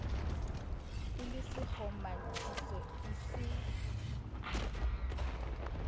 e le sekgomathiso e se